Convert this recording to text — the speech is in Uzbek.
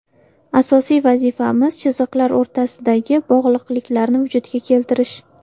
Asosiy vazifamiz chiziqlar o‘rtasidagi bog‘liqliklarni vujudga keltirish.